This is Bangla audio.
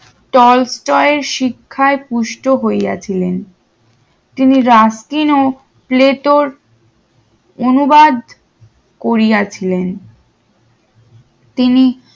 শিক্ষায় পুষ্ট হইয়াছিলেন তিনি রাশি অনুবাদ করিয়াছিলেন তিনি